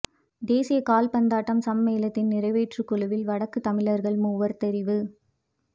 தேசிய காற்பந்தாட்ட சம்மேளனத்தின் நிறைவேற்றுக் குழுவில் வடக்கு தமிழர்கள் மூவர் தெரிவு